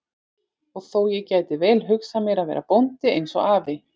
Og þó, ég gæti vel hugsað mér að verða bóndi eins og afi.